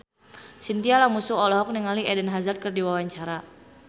Chintya Lamusu olohok ningali Eden Hazard keur diwawancara